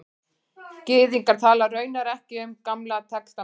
Gyðingar tala raunar ekki um Gamla testamentið